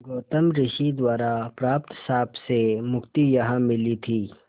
गौतम ऋषि द्वारा प्राप्त श्राप से मुक्ति यहाँ मिली थी